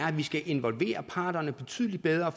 at vi skal involvere parterne betydeligt bedre